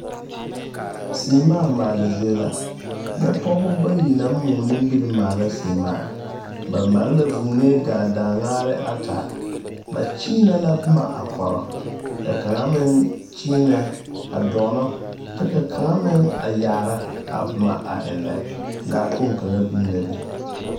Seemaa maale zie la nyɛ pɔgeba bayi naŋ moɔ nimiri maala seemaa ba maale la vūū a daaŋare ata ba nyeenɛɛ boma a koro ka kaŋa meŋ nyeenɛ dɔɔnɔ kaŋa meŋ a yaara a boma a ennɛ lakpoŋ kaŋa biŋ la be.